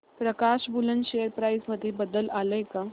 प्रकाश woollen share price मध्ये बदल आलाय का